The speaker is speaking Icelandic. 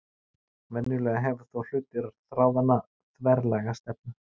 Venjulega hefur þó hluti þráðanna þverlæga stefnu.